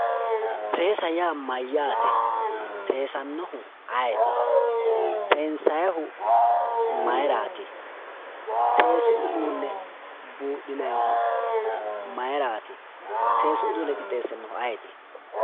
seesa yaa mayyaate?, seesaahu ayeeti?, seensayiihu mayeeraati?, seesu uduune buudhinanihu mayiiraati?, seesu uduune qixxeessanohu ayeeti?